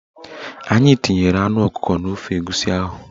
Anyị tinyere anụ ọkụkọ n'ofe egusi ahụ